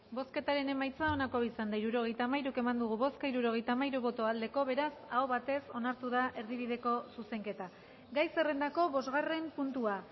hirurogeita hamairu eman dugu bozka hirurogeita hamairu bai beraz aho batez onartu da erdibideko zuzenketa gai zerrendako bostgarren puntua